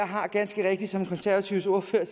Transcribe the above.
har ganske rigtigt som de konservatives ordfører